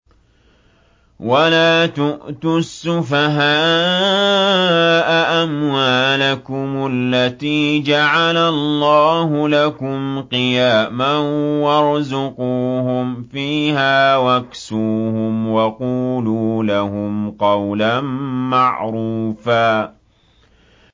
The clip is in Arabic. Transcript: وَلَا تُؤْتُوا السُّفَهَاءَ أَمْوَالَكُمُ الَّتِي جَعَلَ اللَّهُ لَكُمْ قِيَامًا وَارْزُقُوهُمْ فِيهَا وَاكْسُوهُمْ وَقُولُوا لَهُمْ قَوْلًا مَّعْرُوفًا